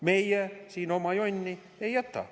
Meie siin oma jonni ei jäta.